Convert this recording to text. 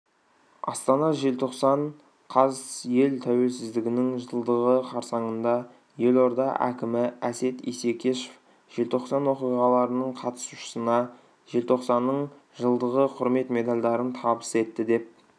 астана желтоқсан қаз ел тәуелсіздігінің жылдығы қарсаңында елорда әкімі әсет исекешев желтоқсан оқиғаларының қатысушысына желтоқсанның жылдығы құрмет медальдарын табыс етті деп